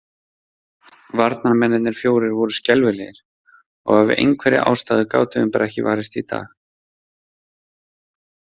Varnarmennirnir fjórir voru skelfilegir, og af einhverri ástæðu gátum við bara ekki varist í dag.